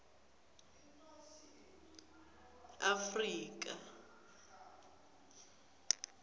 afrika